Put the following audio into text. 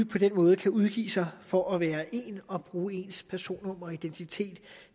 på den måde kan udgive sig for at være en og bruge ens personnummer og identitet